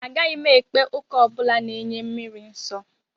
Agaghị m ekpe ụka ọ bụla na-enye mmiri nsọ